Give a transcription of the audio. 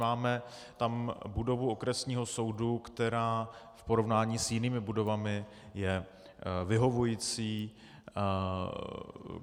Máme tam budovu okresního soudu, která v porovnání s jinými budovami je vyhovující.